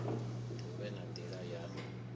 hu vhe na nila ya